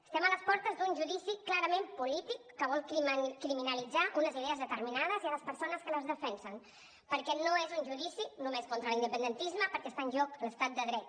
estem a les portes d’un judici clarament polític que vol criminalitzar unes idees determinades i les persones que les defensen perquè no és un judici només contra l’independentisme perquè està en joc l’estat de dret